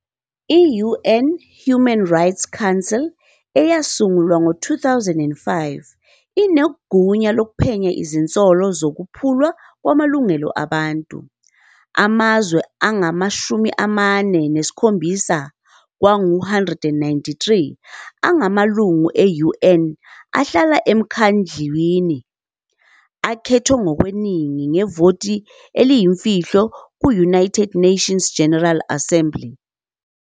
I-UN Human Rights Council, eyasungulwa ngo-2005, inegunya lokuphenya izinsolo zokuphulwa kwamalungelo abantu. Amazwe angama-47 kwangu-193 angamalungu e-UN ahlala emkhandlwini, akhethwe ngokweningi ngevoti eliyimfihlo ku- United Nations General Assembly.